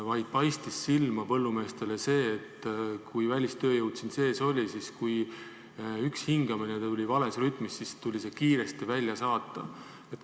Põllumeestele paistis silma see, et kui välistööjõud siin sees oli ja kui üks hingamine oli vales rütmis, siis tuli see kiiresti välja saata.